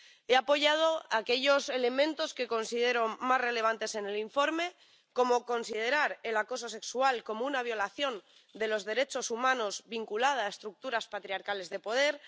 He apoyado aquellos elementos que considero más relevantes en el informe, como considerar el acoso sexual como una violación de los derechos humanos vinculada a estructuras patriarcales de poder